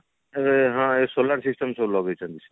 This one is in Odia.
ଏଁ ହଁ ଏଇ solar system ସବୁ ଲଗେଇଛନ୍ତି